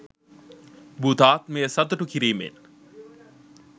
භූතාත්මය සතුටු කිරිමෙන්